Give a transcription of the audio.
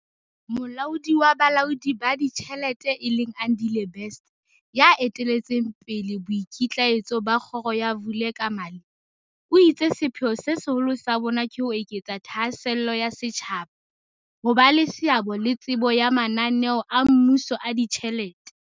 Molaodi wa Bolaodi ba Ditjhelete e leng Andile Best, ya eteletseng pele boikitlaetso ba kgoro ya Vulekamali, o itse sepheo se seholo sa bona ke ho eketsa thahasello ya setjhaba, ho ba le seabo le tsebo ya mana neo a mmuso a ditjhelete.